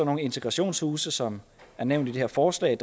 nogle integrationshuse som er nævnt i det her forslag